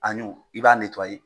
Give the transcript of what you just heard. A ɲu i b'a